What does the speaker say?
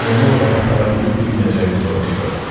Onu oraya apara bilib-bilməyəcəyini soruşdu.